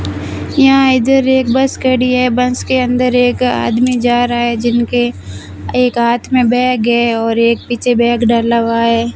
यहां इधर एक बस खड़ी है बस के अंदर एक आदमी जा रहा है जिनके एक हाथ में बैग है और एक पीछे बैग डाला हुआ है।